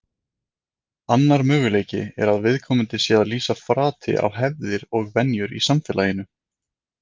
Annar möguleiki er að viðkomandi sé að lýsa frati á hefðir og venjur í samfélaginu.